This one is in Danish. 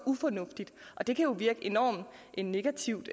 ufornuftigt det kan jo virke enormt negativt